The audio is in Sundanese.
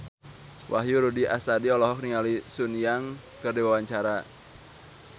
Wahyu Rudi Astadi olohok ningali Sun Yang keur diwawancara